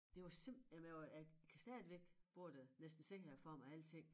Det var simpelthen jamen jeg var jeg kan stadigvæk både næsten se det for mig og alting